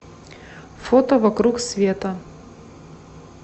фото вокруг света